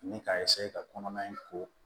Ani k'a ka kɔnɔna in ko